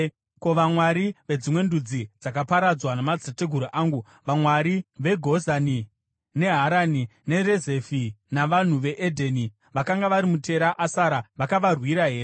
Ko, vamwari vedzimwe ndudzi dzakaparadzwa namadzitateguru angu: vamwari veGozani, neHarani, neRezefi navanhu veEdheni vakanga vari muTeri Asari, vakavarwira here?